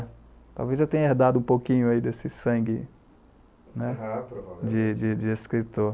É, talvez eu tenha herdado um pouquinho aí desse sangue, ne. Ah provavelmente. De de de de escritor.